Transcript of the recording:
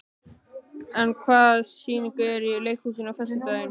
Ann, hvaða sýningar eru í leikhúsinu á föstudaginn?